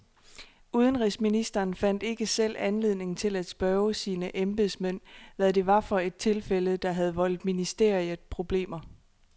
Udenrigsministeren fandt ikke selv anledning til at spørge sine embedsmænd, hvad det var for et tilfælde, der havde voldt ministeriet problemer.